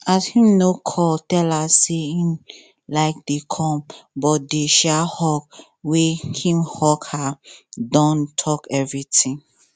um him no call tell her say him um dey come but the um hug wey him hug her don talk everything